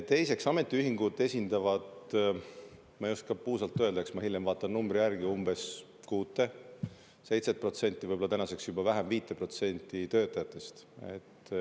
Teiseks, ametiühingud esindavad – ma ei oska puusalt öelda, eks ma hiljem vaatan numbri järele – umbes 6% või 7%, võib‑olla tänaseks juba vähem, isegi 5% töötajatest.